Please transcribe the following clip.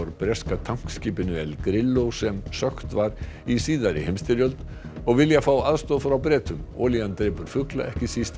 úr breska tankskipinu El Grillo sem sökkt var í seinni heimsstyrjöld og vilja aðstoð frá Bretum olían drepur fugla ekki síst